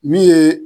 Min ye